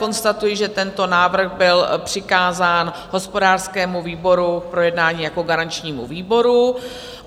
Konstatuji, že tento návrh byl přikázán hospodářskému výboru k projednání jako garančnímu výboru.